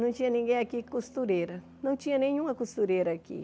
Não tinha ninguém aqui costureira, não tinha nenhuma costureira aqui.